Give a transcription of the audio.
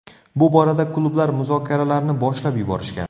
Bu borada klublar muzokaralarni boshlab yuborishgan.